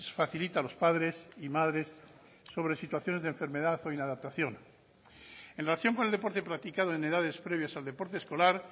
facilita a los padres y madres sobre situaciones de enfermedad o inadaptación en relación con el deporte practicado en edades previas al deporte escolar